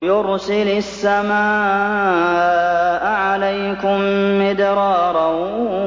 يُرْسِلِ السَّمَاءَ عَلَيْكُم مِّدْرَارًا